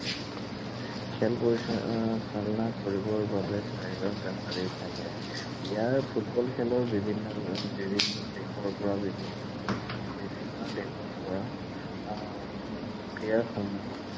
খেল পৰিচালনা কৰিবৰ বাবে চাৰিজন ৰেফাৰী থাকে। ইয়াৰ ফুটবল খেলৰ বিভিন্ন, বিভিন্ন দেশৰ পৰা বিভিন্ন, বিভিন্ন দেশৰ পৰা আহ উম player সমূহ